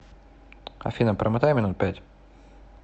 афина промотай минут пять